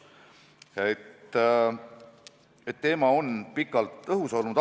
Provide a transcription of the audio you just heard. Nii et teema on pikalt õhus olnud.